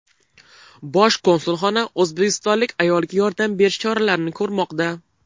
Bosh konsulxona o‘zbekistonlik ayolga yordam berish choralarini ko‘rmoqda.